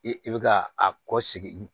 I i bi ka a kɔ sigi